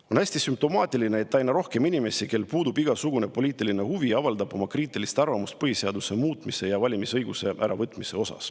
On hästi sümptomaatiline, et aina rohkem inimesi, kellel puudub igasugune poliitiline huvi, avaldab kriitilist arvamust põhiseaduse muutmise ja valimisõiguse äravõtmise kohta.